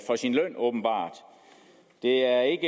for sin løn åbenbart det er